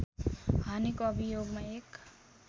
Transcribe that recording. हानेको अभियोगमा एक